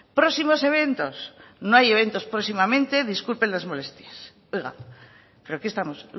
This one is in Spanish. próximos eventos no hay eventos próximamente disculpen las molestias oiga pero qué estamos